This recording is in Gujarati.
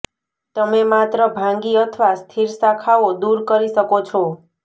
તમે માત્ર ભાંગી અથવા સ્થિર શાખાઓ દૂર કરી શકો છો